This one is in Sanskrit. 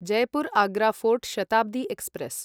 Jaipur Agra Fort Shatabdi express